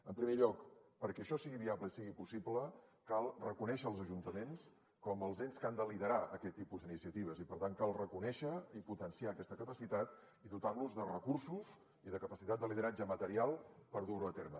en primer lloc perquè això sigui viable i sigui possible cal reconèixer els ajuntaments com els ens que han de liderar aquest tipus d’iniciatives i per tant cal reconèixer i potenciar aquesta capacitat i dotar los de recursos i de capacitat de lideratge material per dur ho a terme